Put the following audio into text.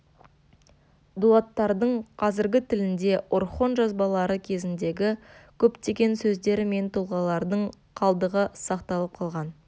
дулаттардың қазіргі тілінде орхон жазбалары кезіндегі көптеген сөздер мен тұлғалардың қалдығы сақталып қалған